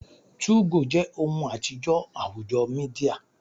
2go je ohun atijọ awujo media